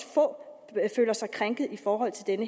få føler sig krænket i forhold til den